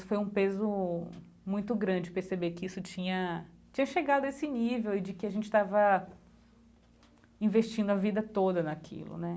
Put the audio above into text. Foi um peso muito grande perceber que isso tinha tinha chegado a esse nível e de que a gente estava investindo a vida toda naquilo, né?